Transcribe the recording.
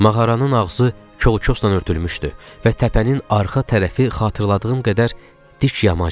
Mağaranın ağzı kolkosla örtülmüşdü və təpənin arxa tərəfi xatırladığım qədər dik yamaçdı.